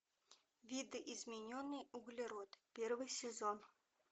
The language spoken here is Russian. видоизмененный углерод первый сезон